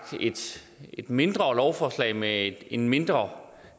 et mindre lovforslag med en mindre